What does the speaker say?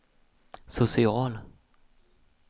social